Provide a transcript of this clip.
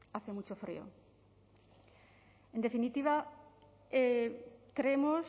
hace mucho frío en definitiva creemos